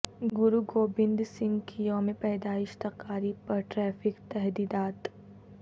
گرو گوبند سنگھ کی یوم پیدائش تقاریب پر ٹریفک تحدیدات